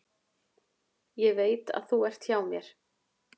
Ég veit að þú ert hjá mér.